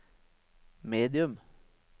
medium